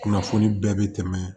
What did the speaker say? Kunnafoni bɛɛ bɛ tɛmɛ